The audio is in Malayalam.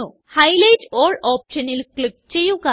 ഹൈലൈറ്റ് ആൽ ഓപ്ഷനിൽ ക്ലിക്ക് ചെയ്യുക